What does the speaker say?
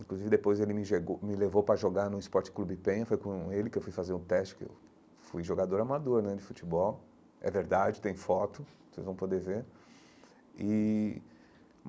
Inclusive depois ele me me levou para jogar no Sport Club Penha, foi com ele que eu fui fazer um teste, que eu fui jogador amador né de futebol, é verdade, tem foto, vocês vão poder ver e.